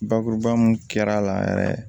Bakuruba mun kɛra a la yɛrɛ